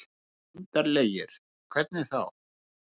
Undarlegir. hvernig þá?